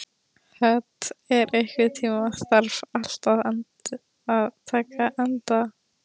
Hödd, einhvern tímann þarf allt að taka enda.